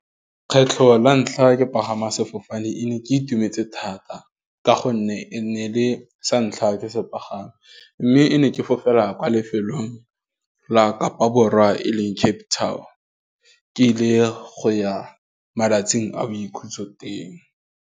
Kgetlho la ntlha ke pagama sefofane e ne ke itumetse thata, ka gonne e ne e le santlha ke se pagama, mme e ne ke fofela kwa lefelong la Kapa Borwa e leng Cape Town ke ile go ya malatsing a boikhutso teng.